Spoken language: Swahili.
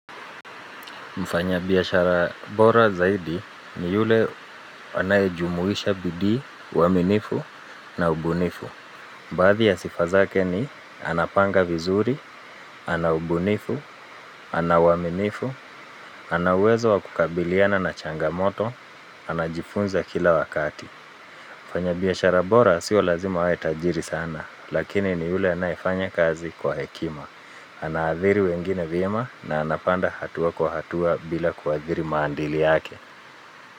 Mfanya biashara bora zaidi ni yule anayejumuisha bidii, uaminifu na ubunifu. Baadhi ya sifa zake ni anapanga vizuri, ana ubunifu, ana uaminifu, ana uwezo wa kukabiliana na changamoto, anajifunza kila wakati. Mfanya biashara bora sio lazima awe tajiri sana, lakini ni yule anayefanya kazi kwa hekima. Anaathiri wengine vyema na anapanda hatua kwa hatua bila kuathiri maadili yake.